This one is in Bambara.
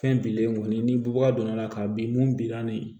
Fɛn bilen kɔni ni bubaga donna la ka bin mun bilan ni